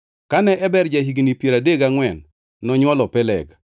Kane Eber ja-higni piero adek gangʼwen, nonywolo Peleg.